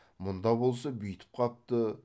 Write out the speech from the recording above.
мұнда болса бүйтіп қапты